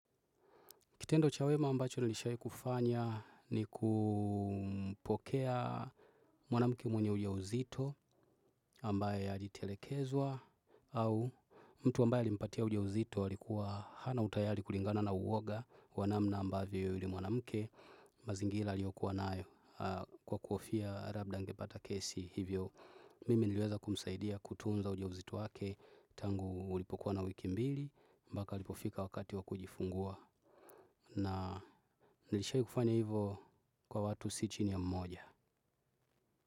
Kitendo chawema ambacho nilishai kufanya ni kupokea mwanamke mwenye uja uzito ambaye alitelekezwa au mtu ambaye alimpatia uja uzito alikuwa hana utayari kulingana na uwoga wanamna ambayo yule mwanamke. Mazingira aliyokuwa nayo kwa kuhofia labda angepata kesi hivyo mimi niliweza kumsaidia kutunza uja uzito wake tangu ulipokuwa na wiki mbili mpaka alipofika wakati wakujifungua. Na nilishai kufanya hivo kwa watu si chini ya mmoja.